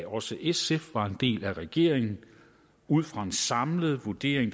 også sf var en del af regeringen ud fra en samlet vurdering